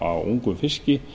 á ungum fiski